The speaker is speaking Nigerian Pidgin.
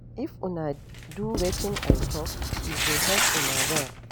If una do wetin I talk e go help una well